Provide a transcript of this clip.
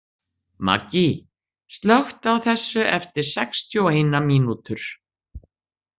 Maggý, slökktu á þessu eftir sextíu og eina mínútur.